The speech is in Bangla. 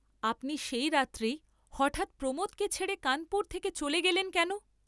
আপনি সেই রাত্রেই হঠাৎ প্রমোদকে ছেড়ে কানপুর থেকে চলে গেলেন কেন?